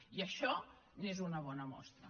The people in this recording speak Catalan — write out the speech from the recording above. i això n’és una bona mostra